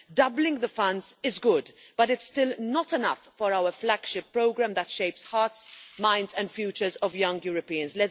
Doubling the funds is good, but it's still not enough for our flagship programme that shapes hearts, minds and futures of young Europeans.